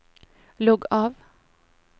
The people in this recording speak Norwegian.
logg av